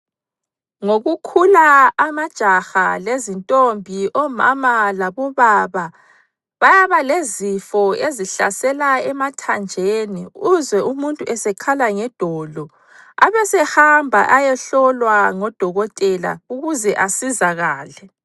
Ngokukhula amajaha lezintombi, omama labobaba bayaba lezifo ezihlasela emathanjeni, uzwe umuntu esekhala ngedolo abesehamba ayehlolwa ngodokotela ukuze asizakale.